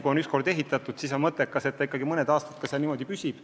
Kui on üks kord ehitatud, siis on mõttekas, et see ikkagi mõned aastad ka niimoodi püsib.